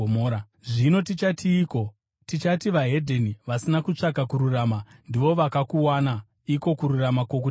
Zvino tichatiiko? Tichati veDzimwe Ndudzi vasina kutsvaka kururama, ndivo vakakuwana, iko kururama kwokutenda;